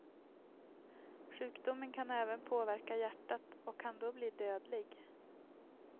Sjukdomen kan även påverka hjärtat och kan då bli dödlig.